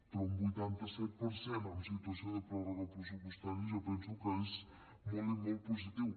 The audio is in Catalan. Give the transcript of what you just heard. però un vuitanta set per cent amb situació de pròrroga pressupostària jo penso que és molt i molt positiu